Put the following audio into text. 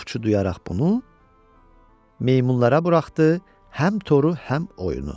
Ovçu duyaraq bunu meymunlara buraxdı həm toru, həm oyunu.